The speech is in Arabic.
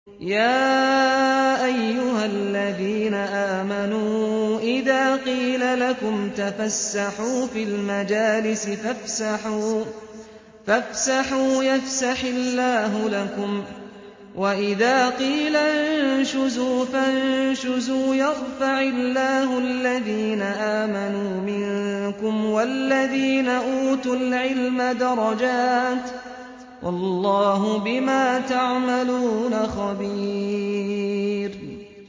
يَا أَيُّهَا الَّذِينَ آمَنُوا إِذَا قِيلَ لَكُمْ تَفَسَّحُوا فِي الْمَجَالِسِ فَافْسَحُوا يَفْسَحِ اللَّهُ لَكُمْ ۖ وَإِذَا قِيلَ انشُزُوا فَانشُزُوا يَرْفَعِ اللَّهُ الَّذِينَ آمَنُوا مِنكُمْ وَالَّذِينَ أُوتُوا الْعِلْمَ دَرَجَاتٍ ۚ وَاللَّهُ بِمَا تَعْمَلُونَ خَبِيرٌ